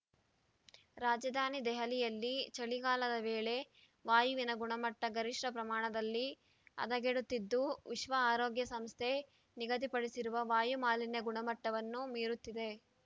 ರಾಜಧಾನಿ ದೆಹಲಿಯಲ್ಲಿ ಚಳಿಗಾಲದ ವೇಳೆ ವಾಯುವಿನ ಗುಣಮಟ್ಟ ಗರಿಷ್ಠ ಪ್ರಮಾಣದಲ್ಲಿ ಹದಗೆಡುತ್ತಿದ್ದು ವಿಶ್ವ ಆರೋಗ್ಯ ಸಂಸ್ಥೆ ನಿಗದಿಪಡಿಸಿರುವ ವಾಯು ಮಾಲಿನ್ಯ ಗುಣಮಟ್ಟವನ್ನು ಮೀರುತ್ತಿದೆ